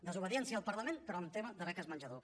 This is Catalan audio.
desobediència al parlament però en el tema de beques menjador